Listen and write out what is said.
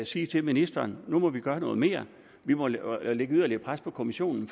sige til ministeren nu må vi gøre noget mere vi må lægge yderligere pres på kommissionen